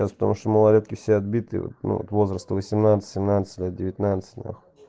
сейчас потому что малолетки все отбитые возраста восемнадцать семнадцать лет девятнадцать нахуй